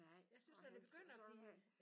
Jeg synes når det begynder at blive ja